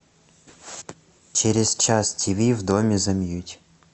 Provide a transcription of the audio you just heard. через час тиви в доме замьють